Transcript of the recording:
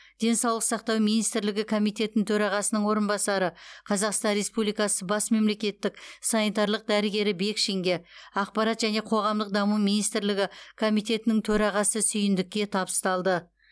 денсаулық сақтау министрлігі комитетінің төрағасының орынбасары қазақстан республикасы бас мемлекеттік санитарлық дәрігері бекшинге ақпарат және қоғамдық даму министрлігі комитетінің төрағасы сүйіндікке табысталды